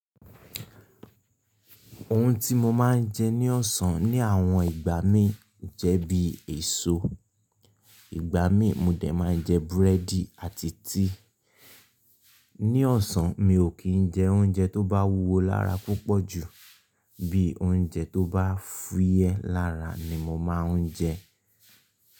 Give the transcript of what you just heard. Ohun tí mo máa ń jẹ ní ọ̀sán ní àwọn ìgbà mí jẹ́ bí èso. Ìgbà mí mo dẹ̀ máa jẹ búrẹ́dì àti tíì. Ní ọ̀sán mi ò kí ń jẹ oúnjẹ tó bá wúwo lára púpọ̀jù, bí oúnjẹ tó bá fúyẹ́ lára ni mo máa ń jẹ.